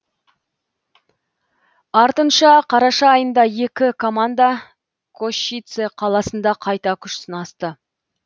артынша қараша айында екі команда кошице қаласында қайта күш сынасты